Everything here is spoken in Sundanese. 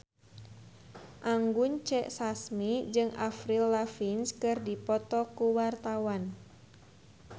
Anggun C. Sasmi jeung Avril Lavigne keur dipoto ku wartawan